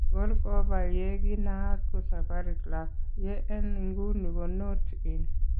Akor kobaa yee kinaat ko Safari Club , ye en inguni ko Notte inn